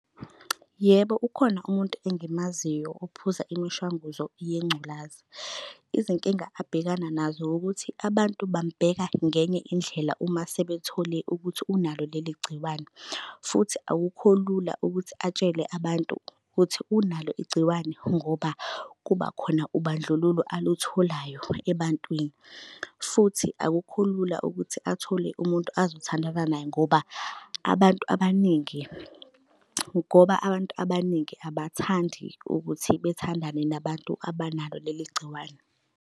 Yebo, ukhona umuntu engimaziyo ophuza imishanguzo yengculaza. Izinkinga abhekana nazo ukuthi abantu bamubheka ngenye indlela uma sebethole ukuthi unalo leli gciwane. Futhi akukho lula ukuthi atshele abantu ukuthi unalo igciwane ngoba kuba khona ubandlululo alutholayo ebantwini. Futhi akukho lula ukuthi athole umuntu azothandana naye ngoba abantu abaningi, ngoba abantu abaningi abathandi ukuthi bethandane nabantu abanalo leli gciwane.